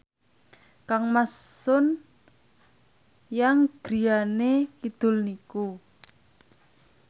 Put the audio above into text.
kangmas Sun Yang griyane kidul niku